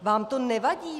Vám to nevadí?